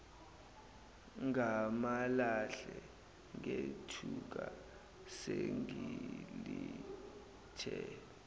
ngamalahle ngethuka sengilithe